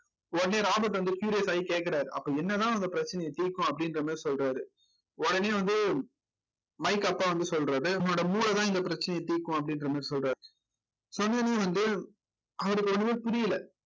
உடனே ராபர்ட் வந்து serious ஆயி கேக்கறார் அப்ப என்னதான் அந்த பிரச்சனைய தீர்க்கும் அப்படின்ற மாதிரி சொல்றாரு உடனே வந்து மைக் அப்பா வந்து சொல்றது உன்னோட மூளைதான் இந்த பிரச்சனையை தீர்க்கும் அப்படின்ற மாதிரி சொல்றாரு சொன்ன உடனே வந்து அவருக்கு ஒண்ணுமே புரியல